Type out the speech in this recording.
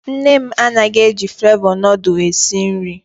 Nne m anaghị eji flevọ nudul esi nri.